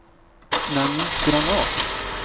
Nanny Granath